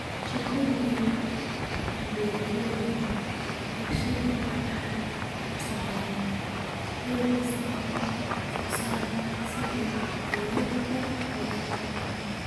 Shirkadaha waaweyn ee beeralayda warshaduhu waxay farsameeyaan heer kasta oo wax soo saarka si ay ugu waxtarka badan yihiin.